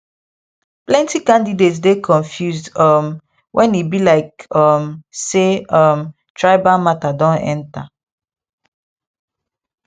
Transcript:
plenty candidates dey confused um when e be like um say um tribal matter don enter